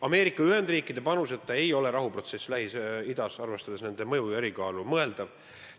Ameerika Ühendriikide panuseta ei ole rahuprotsess Lähis-Idas, arvestades nende mõju ja osakaalu, mõeldav.